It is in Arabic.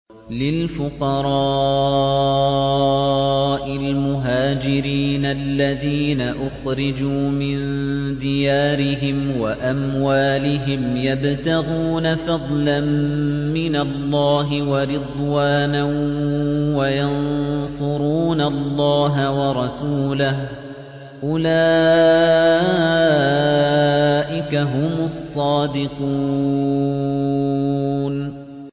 لِلْفُقَرَاءِ الْمُهَاجِرِينَ الَّذِينَ أُخْرِجُوا مِن دِيَارِهِمْ وَأَمْوَالِهِمْ يَبْتَغُونَ فَضْلًا مِّنَ اللَّهِ وَرِضْوَانًا وَيَنصُرُونَ اللَّهَ وَرَسُولَهُ ۚ أُولَٰئِكَ هُمُ الصَّادِقُونَ